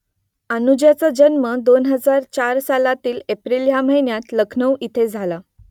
अनुजाचा जन्म दोन हजार चार सालातील एप्रिल ह्या महिन्यात लखनौ इथे झाला